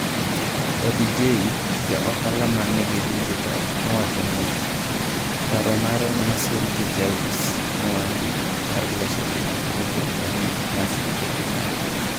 Papi Jay, ja ohala ma nigi dijital, nowacho niya. Paro mare nosir gi jaus mwandu mag loso dendi miluongo ni Mercy Ehimare.